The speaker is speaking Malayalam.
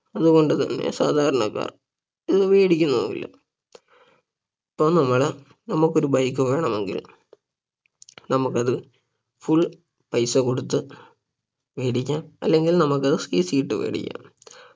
അതുകൊണ്ട് തന്നെ സാധാരണക്കാർ ഇത് വേടിക്കുന്നുമില്ല അപ്പൊ നമ്മള് നമുക്കൊരു bike വേണമെങ്കിൽ നമുക്കത് full പൈസ കൊടുത്ത് വേടിക്കാം അല്ലങ്കിൽ നമുക്കത് CC ഇട്ട് വേടിക്കാം